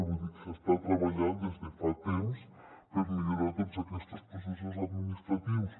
vull dir s’està treballant des de fa temps per millorar tots aquests processos administratius